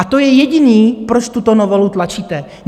A to je jediné, proč tuto novelu tlačíte.